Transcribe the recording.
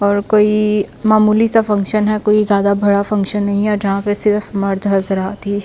और कोई मामूली सा फंक्शन है कोई ज्यादा बड़ा फंक्शन नहीं है जहां पे सिर्फ मर्द हंस रहा थी--